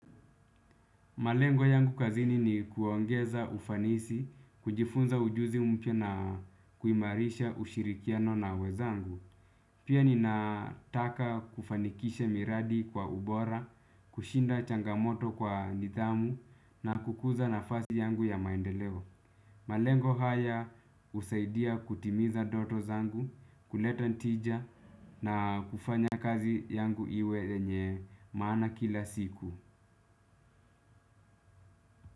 Malengo yangu kazini ni kuongeza ufanisi, kujifunza ujuzi mpya na kuimarisha ushirikiano na wenzangu. Pia ninataka kufanikisha miradi kwa ubora, kushinda changamoto kwa nidhamu, na kukuza nafasi yangu ya maendeleo. Malengo haya usaidia kutimiza ndoto zangu, kuleta tija na kufanya kazi yangu iwe yenye maana kila siku.